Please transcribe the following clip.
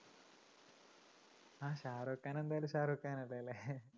ആ ഷാരൂഖ് ഖാൻ എന്തായാലും ഷാരൂഖ് ഖാൻ അല്ലേല്ലേ?